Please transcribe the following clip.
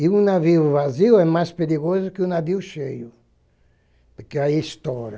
E o navio vazio é mais perigoso que o navio cheio, porque aí estoura.